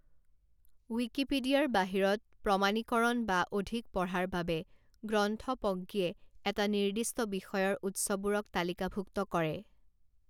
ৱিকিপিডিয়াৰ বাহিৰত প্ৰমাণীকৰণ বা অধিক পঢ়াৰ বাবে গ্ৰন্থপজ্ঞীয়ে এটা নিৰ্দিষ্ট বিষয়ৰ উৎসবোৰক তালিকাভুক্ত কৰে